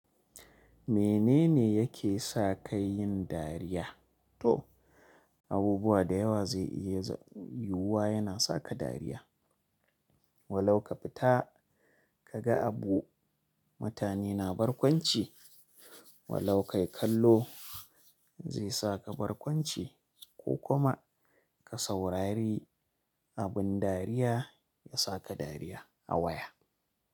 Menene yake sa ka yin dariya? To abubuwa dayawa zai iya yiyuwa zai iya saka Walo ka fita ka ga abu mutane na barkwanci, walo kai kallo zai sa ka barkwanci ko kuma ka saurari abin dariya ya sa ka dariya a waya.